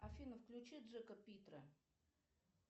афина включи джека питра